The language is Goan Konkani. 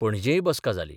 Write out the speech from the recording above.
पणजेय बसका जाली.